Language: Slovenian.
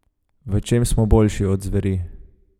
V čem smo boljši od zveri?